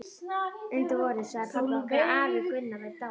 Undir vorið sagði pabbi okkur að afi Gunnar væri dáinn.